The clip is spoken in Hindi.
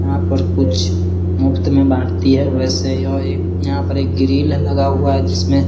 यहाँ पर कुछ मुफ्त में बांटती है वैसे यह एक यहाँ पर एक ग्रिल है लगा हुआ जिसमें --